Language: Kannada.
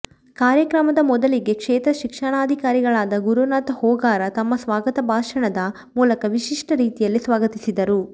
ಕಾರ್ಯಕ್ರಮದ ಮೊದಲಿಗೆ ಕ್ಷೇತ್ರ ಶಿಕ್ಷಣಾಧಿಕಾರಿಗಳಾದ ಗುರುನಾಥ ಹೂಗಾರ ತಮ್ಮ ಸ್ವಾಗತ ಭಾಷಣದ ಮೂಲಕ ವಿಶಿಷ್ಠ ರೀತಿಯಲ್ಲಿ ಸ್ವಾಗತಿಸಿದರು